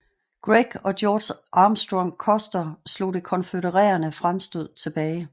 Gregg og George Armstrong Custer slog det konfødererede fremstød tilbage